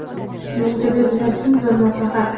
Menga berilgan eng zo‘r maslahat™.